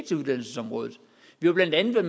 til uddannelsesområdet vi har blandt andet